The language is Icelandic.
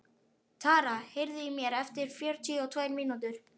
Tara, heyrðu í mér eftir fjörutíu og tvær mínútur.